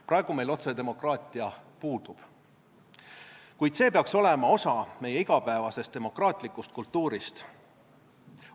Praegu meil otsedemokraatia puudub, kuid see peaks olema osa meie igapäevasest demokraatlikust kultuurist.